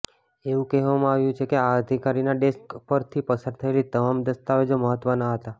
એવું કહેવામાં આવ્યું છે કે આ અધિકારીનાં ડેસ્ક પરથી પસાર થયેલી તમામ દસ્તાવેજો મહત્વના હતા